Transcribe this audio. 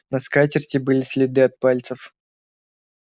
на скатерти были следы от пальцев